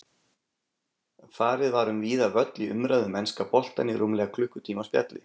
Farið var um víðan völl í umræðu um enska boltann í rúmlega klukkutíma spjalli.